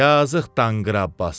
Yazıq danqıra Abbas.